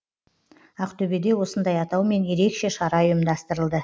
ақтөбеде осындай атаумен ерекше шара ұйымдастырылды